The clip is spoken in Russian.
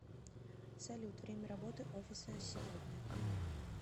салют время работы офиса сегодня